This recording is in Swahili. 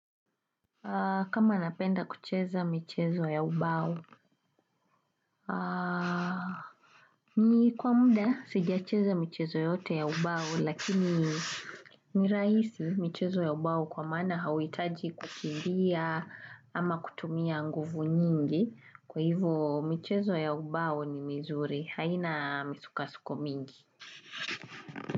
Kama napenda kucheza michezo ya ubau ni kwa muda sija cheza michezo yote ya ubau lakini ni raisi michezo ya ubau kwa mana hawitaji kukimbia ama kutumia nguvu nyingi kwa hivu michezo ya ubau ni mizuri haina misuka suko mingi.